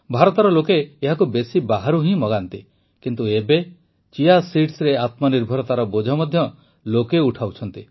ଭାରତର ଲୋକେ ଏହାକୁ ବେଶି ବାହାରୁ ହିଁ ମଗାନ୍ତି କିନ୍ତୁ ଏବେ ଚିଆ seedsରେ ଆତ୍ମନିର୍ଭରତାର ବୋଝ ମଧ୍ୟ ଲୋକେ ଉଠାଉଛନ୍ତି